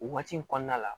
O waati in kɔnɔna la